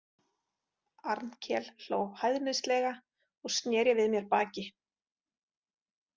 Arnkel hló hæðnislega og sneri við mér baki.